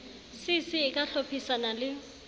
cc e ka hlodisana le